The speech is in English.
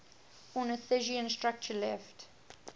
ornithischian structure left